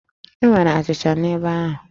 E nwere achịcha n'ebe ahụ?